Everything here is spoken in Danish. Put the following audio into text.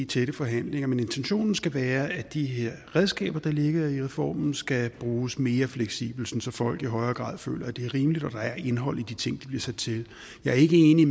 tætte forhandlinger men intentionen skal være at de her redskaber der ligger i reformen skal bruges mere fleksibelt så folk i højere grad føler at det er rimeligt og at der er et indhold i de ting de bliver sat til jeg er ikke enig i